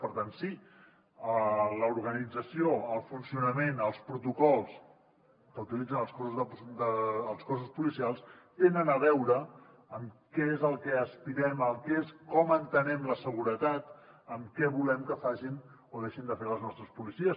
per tant sí l’organització el funcionament els protocols que utilitzen els cossos policials tenen a veure amb què és al que aspirem com entenem la seguretat amb què volem que facin o deixin de fer les nostres policies